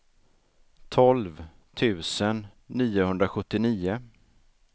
tolv tusen niohundrasjuttionio